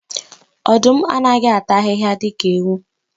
Ọdụm anaghị ata ahịhịa dika ewu.